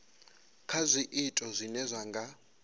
kha zwiito zwine zwa nga